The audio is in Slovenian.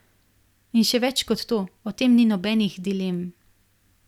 In še več kot to, o tem ni nobenih dilem.